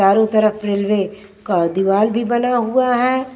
चारो तरफ रेलवे का दीवार भी बना हुआ है।